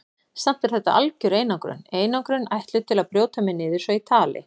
Samt er þetta algjör einangrun, einangrun ætluð til að brjóta mig niður svo ég tali.